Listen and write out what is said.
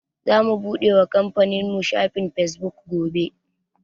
Zamu buɗe wa kamfanin mu shafin Fesbuk gobe.